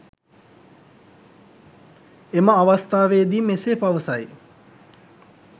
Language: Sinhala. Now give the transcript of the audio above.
එම අවස්ථාවේදී මෙසේ පවසයි